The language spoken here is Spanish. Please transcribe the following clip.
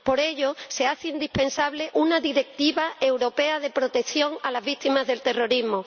por ello, se hace indispensable una Directiva europea de protección a las víctimas del terrorismo.